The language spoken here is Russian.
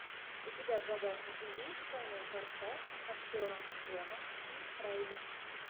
у тебя в загашнике есть двойной форсаж с актером джоном си райли